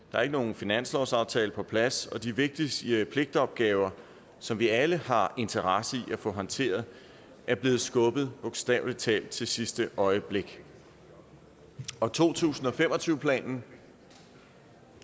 der er ikke nogen finanslovsaftale på plads og de vigtigste pligtopgaver som vi alle har interesse i at få håndteret er blevet skubbet bogstavelig talt sidste øjeblik og to tusind og fem og tyve planen